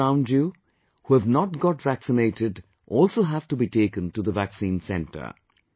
Those around you who have not got vaccinated also have to be taken to the vaccine center